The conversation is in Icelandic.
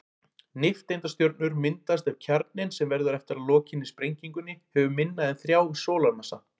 Nifteindastjörnur myndast ef kjarninn, sem verður eftir að lokinni sprengingunni, hefur minna en þrjá sólarmassa.